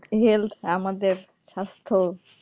Health আমাদের স্বাস্থ্য